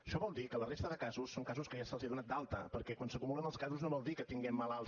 això vol dir que la resta de casos són casos que ja se’ls ha donat d’alta perquè quan s’acumulen els casos no vol dir que tinguem malalts